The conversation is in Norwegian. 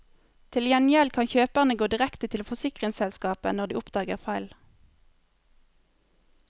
Til gjengjeld kan kjøperne gå direkte til forsikringsselskapet når de oppdager feil.